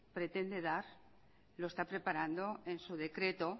pretende dar lo está preparando en su decreto